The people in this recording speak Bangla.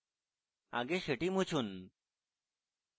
আগে সেটি মুছুন